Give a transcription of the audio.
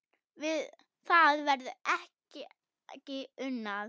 Við það verður ekki unað.